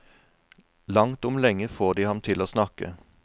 Langt om lenge får de ham til å snakke.